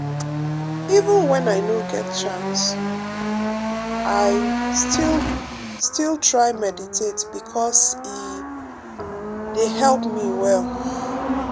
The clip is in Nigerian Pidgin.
even when i no get chance i um still still try meditate because e um dey help me well.